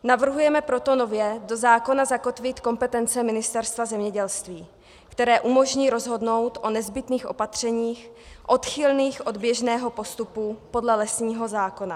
Navrhujeme proto nově do zákona zakotvit kompetence Ministerstva zemědělství, které umožní rozhodnout o nezbytných opatřeních odchylných od běžného postupu podle lesního zákona.